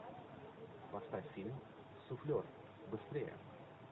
поставь фильм суфлер быстрее